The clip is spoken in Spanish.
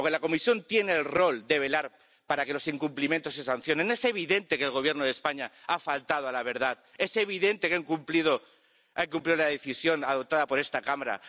Porque la Comisión tiene el rol de velar para que los incumplimientos se sancionen. Es evidente que el Gobierno de España ha faltado a la verdad, es evidente que ha incumplido la decisión adoptada por esta Cámara.